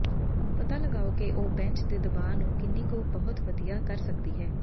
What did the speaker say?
ਪਤਾ ਲਗਾਓ ਕਿ ਉਹ ਬੈਂਚ ਦੇ ਦਬਾਅ ਨੂੰ ਕਿੰਨੀ ਕੁ ਬਹੁਤ ਵਧੀਆ ਕਰ ਸਕਦੀ ਹੈ